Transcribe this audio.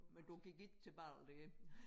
Men du gik ikke til bal dér